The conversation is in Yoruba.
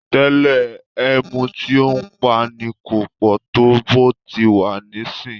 tẹlẹ emu tío npá ní kò pò to bó ti wa nisin